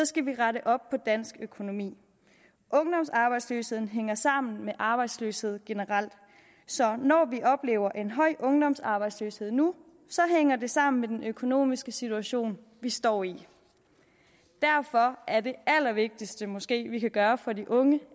skal vi rette op på dansk økonomi ungdomsarbejdsløshed hænger sammen med arbejdsløshed generelt så når vi oplever en høj ungdomsarbejdsløshed nu hænger det sammen med den økonomiske situation vi står i derfor er det allervigtigste måske vi kan gøre for de unge